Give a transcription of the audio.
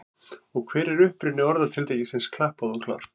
Hver er uppruni orðatiltækisins klappað og klárt?